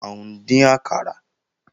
À ń dín àkàrà